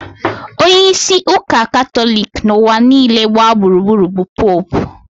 Onyeisi ụka Katọlik n'ụwa niile gbaa gburugburu bụ Popu